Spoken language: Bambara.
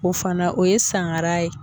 O fana o ye sangara ye.